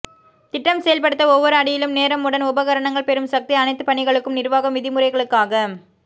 திட்டம் செயல்படுத்த ஒவ்வொரு அடியிலும் நேரம் உடன் உபகரணங்கள் பெறும் சக்தி அனைத்துப் பணிகளுக்கும் நிர்வாகம் விதிமுறைகளுக்காக